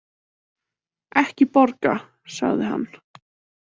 Ekki borga, sagði hann.